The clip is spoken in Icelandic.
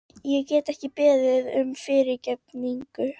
Ég get ekki beðið um fyrirgefningu.